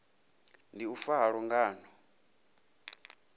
ndi u fa ha lungano